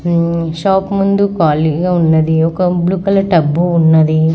ఉమ్ shop ముందు ఖాళీగా ఉన్నది ఒక బ్లూ కలర్ డబ్బు ఉన్నది.